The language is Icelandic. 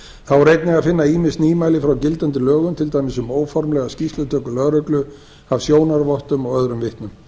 þá er einnig að finna ýmis nýmæli frá gildandi lögum til dæmis um óformlega skýrslutöku lögreglu af sjónarvottum og öðrum vitnum